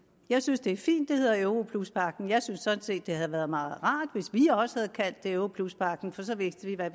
jeg synes det er fint det hedder europluspagten jeg synes sådan set det havde været meget rart hvis vi også havde kaldt det europluspagten for så vidste vi hvad